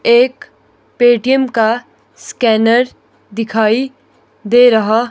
एक पेटम का स्कैनर दिखाई दे रहा--